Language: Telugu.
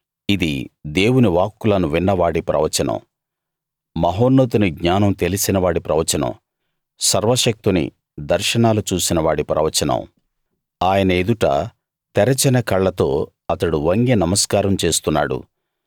ఇది దేవుని వాక్కులను విన్నవాడి ప్రవచనం మహాన్నతుని జ్ఞానం తెలిసినవాడి ప్రవచనం సర్వశక్తుని దర్శనాలు చూసినవాడి ప్రవచనం ఆయన ఎదుట తెరిచిన కళ్ళతో అతడు వంగి నమస్కారం చేస్తున్నాడు